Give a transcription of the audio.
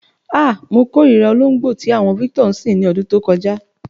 Ah! Mo kórìírà olóǹgbó tí àwo̩n Victor ń sìn ní o̩dún tó ko̩já.